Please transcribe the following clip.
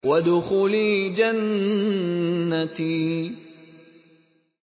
وَادْخُلِي جَنَّتِي